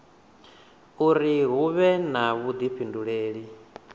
uri hu vhe na vhuifhinduleli